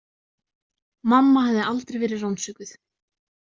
Mamma hafði aldrei verið rannsökuð.